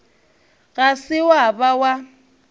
ga se wa ba wa